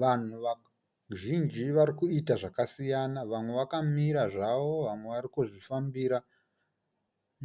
Vanhu vazhinji vari kuita zvakasiyana, vamwe zvakamira zvavo vamwe vari kuzvifambira